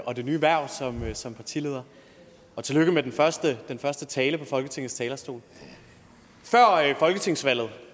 og det nye hverv som partileder og tillykke med den første første tale fra folketingets talerstol før folketingsvalget